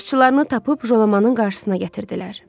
Başçılarını tapıb Jolamanın qarşısına gətirdilər.